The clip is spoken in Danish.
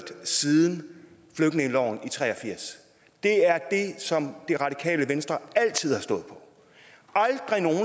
siden flygtningeloven i nitten tre og firs det er det som det radikale venstre altid har stået for